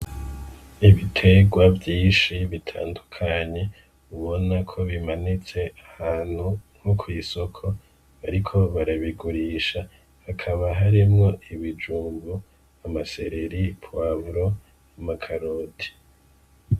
Ibitegwa vyinshi bitandukanye ubona ko bimanitse ahantu nko kw'isoko, bariko barabigurisha hakaba haremwo ibijumbu, amasereri, pwavulo, amakaroti.